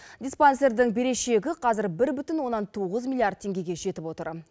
диспансердің берешегі қазір бір бүтін оннан тоғыз миллиард теңгеге жетіп отыр